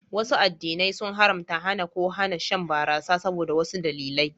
Wasu addinai sun haramta, hana, ko hana shan barasa saboda wasu dalilai